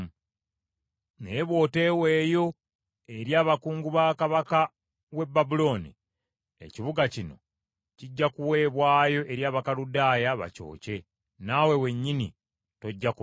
Naye bw’oteweeyo eri abakungu ba kabaka w’e Babulooni, ekibuga kino kijja kuweebwayo eri Abakaludaaya bakyokye; nawe wennyini tojja kubawona.’ ”